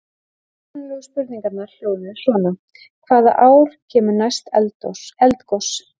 Upprunalegu spurningarnar hljóðuðu svona: Hvaða ár kemur næst eldgos?